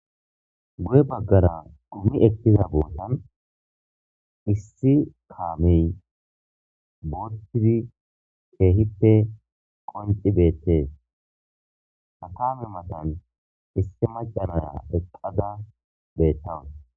Guye baggara dhummi ekkiza bootan issi kaamey botdi keehippe qonci beettees hatame matan issi macanaya eqqada bettawun.